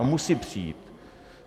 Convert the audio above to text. A musí přijít.